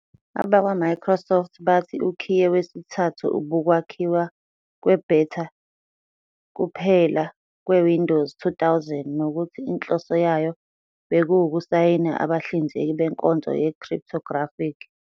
AbakwaMicrosoft bathi ukhiye wesithathu ubukwakhiwa kwe-beta kuphela kweWindows 2000 nokuthi inhloso yayo bekuwukusayina abahlinzeki benkonzo ye-Cryptographic.